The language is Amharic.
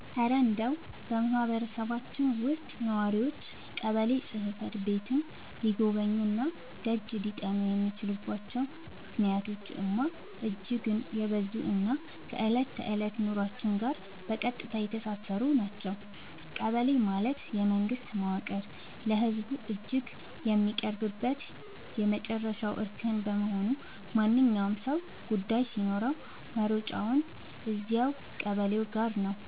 እረ እንደው በማህበረሰባችን ውስጥ ነዋሪዎች ቀበሌ ጽሕፈት ቤትን ሊጎበኙና ደጅ ሊጠኑ የሚችሉባቸው ምክንያቶችማ እጅግ የበዙና ከዕለት ተዕለት ኑሯችን ጋር በቀጥታ የተሳሰሩ ናቸው! ቀበሌ ማለት የመንግስት መዋቅር ለህዝቡ እጅግ የሚቀርብበት የመጨረሻው እርከን በመሆኑ፣ ማንኛውም ሰው ጉዳይ ሲኖረው መሮጫው እዚያው ቀበሌው ጋ ነው።